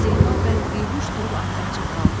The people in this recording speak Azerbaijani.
Zeynal bəy behuş durub ağzı açıq qaldı.